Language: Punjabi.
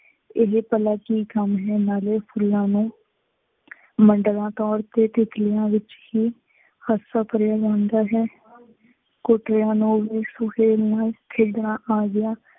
ਇਹ ਭਲਾ ਕੀ ਕੰਮ ਹੈ, ਨਾਲੇ ਫੁੱਲਾਂ ਨੂੰ ਮੰਡਵਾ ਤੌਰ ਤੇ ਤਿੱਤਲੀਆਂ ਵਿੱਚ ਹੀ ਕਰਿਆ ਜਾਂਦਾ ਹੈ। ਤਿੱਤਲੀਆਂ ਨੂੰ ਵੀ ਸੁਹੇਲ ਨੂੰ ਖੇਡਣਾ ਆ ਗਿਆ।